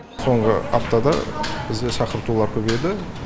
соңғы аптада бізде шақыртулар көбейді